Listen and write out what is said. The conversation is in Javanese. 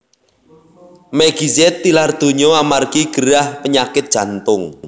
Meggy Z tilar donya amargi gerah penyakit jantung